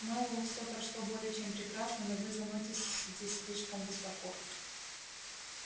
мэллоу всеё прошло более чем прекрасно но вы заноситесь слишком высоко